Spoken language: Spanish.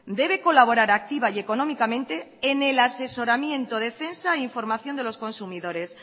debe colaborar activa y económicamente en el asesoramiento defensa e información de los consumidores